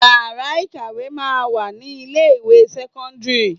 Ìyàrá ìkàwé máa ń wà ní ilé ìwé sẹ́kọ́ńdírì.